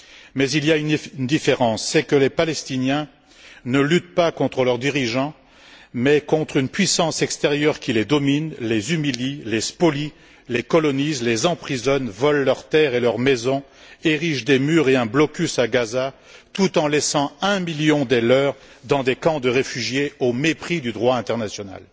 Mais il y a une différence les Palestiniens ne luttent pas contre leur dirigeant mais contre une puissance extérieure qui les domine, les humilie, les spolie, les colonise, les emprisonne, vole leurs terres et leurs maisons, érige des murs et un blocus à Gaza tout en laissant un million des leurs dans des camps de réfugiés, au mépris du droit international.